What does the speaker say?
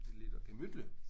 Det lyder gemytligt